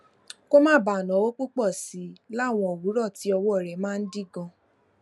kó má bàa náwó púpò sí i láwọn òwúrò tí ọwó rè máa ń dí ganan